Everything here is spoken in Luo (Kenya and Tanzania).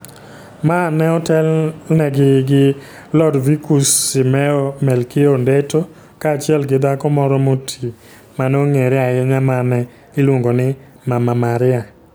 Ma ne otelnegi gi Lodvikus Simeo Melkio Ondetto kaachiel gi dhako moro moti ma ne ong'ere ahinya ma ne iluongo ni Mama Maria.